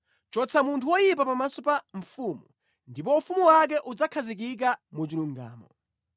Chotsa munthu woyipa pamaso pa mfumu; ndipo ufumu wake udzakhazikika mu chilungamo.